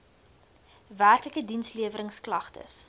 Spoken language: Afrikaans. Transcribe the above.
werklike diensleweringsk lagtes